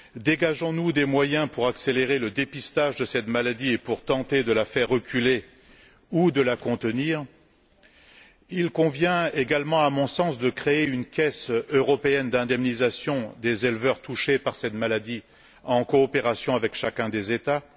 Dégageons nous des moyens pour accélérer le dépistage de cette maladie et pour tenter de la faire reculer ou de la contenir? Il convient également, à mon sens, de créer une caisse européenne d'indemnisation des éleveurs touchés par cette maladie, en coopération avec chacun des États.